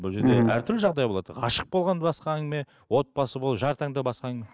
бұл жерде әртүрлі жағдай болады ғашық болған басқа әңгіме отбасы болу жар таңдау басқа әңгіме